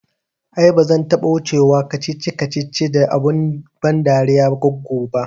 Ai ba zan taɓa wuce wa kacici kacici da abun ban dariyar goggo ba